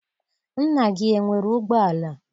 Nna gị enwere ụgbọala?